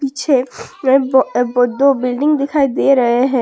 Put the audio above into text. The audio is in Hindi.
पीछे में दो बिल्डिंग दिखाई दे रहे हैं।